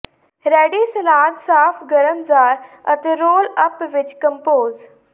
ready salad ਸਾਫ਼ ਗਰਮ jar ਅਤੇ ਰੋਲ ਅੱਪ ਵਿੱਚ ਕੰਪੋਜ਼